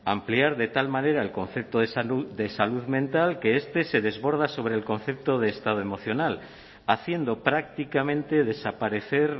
ampliar de tal manera el concepto de salud de salud mental que este se desborda sobre el concepto de estado emocional haciendo prácticamente desaparecer